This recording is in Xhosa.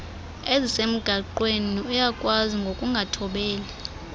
ezisemgaqweni uyakwaziswa ngokungathobeli